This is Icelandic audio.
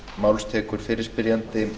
herra forseti hér erum við